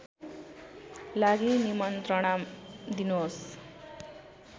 लागि निमन्त्रणा दिनुहोस्